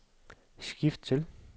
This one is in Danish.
skift til